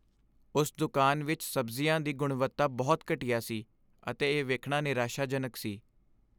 ਉਸ ਦੁਕਾਨ ਵਿੱਚ ਸਬਜ਼ੀਆਂ ਦੀ ਗੁਣਵੱਤਾ ਬਹੁਤ ਘਟੀਆ ਸੀ ਅਤੇ ਇਹ ਵੇਖਣਾ ਨਿਰਾਸ਼ਾਜਨਕ ਸੀ।